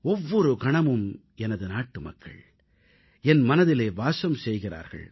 ஒவ்வொரு கணமும் எனது நாட்டு மக்கள் என் மனதிலே வாசம் செய்கிறார்கள்